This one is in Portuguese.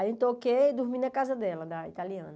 Aí eu toquei e dormi na casa dela, da italiana.